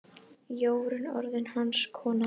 Jórunn orðin hans kona.